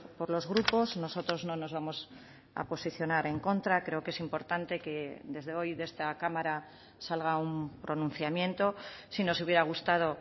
por los grupos nosotros no nos vamos a posicionar en contra creo que es importante que desde hoy de esta cámara salga un pronunciamiento sí no se hubiera gustado